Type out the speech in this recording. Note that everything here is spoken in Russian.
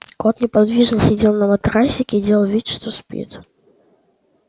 кот неподвижно сидел на матрасике и делал вид что спит